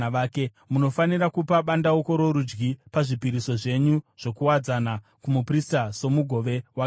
Munofanira kupa bandauko rorudyi pazvipiriso zvenyu zvokuwadzana kumuprista somugove wakewo.